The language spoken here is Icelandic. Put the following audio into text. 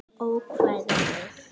Ókvæða við